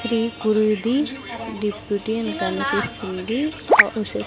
Shri Kurudeep deputy అని కనిపిస్తుంది క--